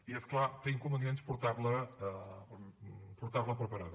i és clar té inconvenients portar la preparada